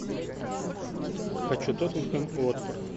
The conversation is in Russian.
хочу тоттенхэм уотфорд